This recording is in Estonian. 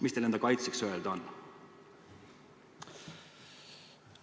Mis teil enda kaitseks öelda on?